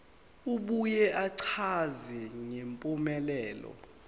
abuye achaze ngempumelelo